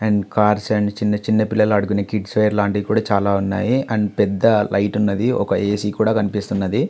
And cars and చిన్న చిన్న పిల్లలు ఆడుకునే కిడ్స్ వేర్ లాంటివి కూడా చాలా ఉన్నాయి.కానీ చాలా పెద్ద లైటు ఉన్నది. ఏసి కూడా కనిపిస్తున్నది.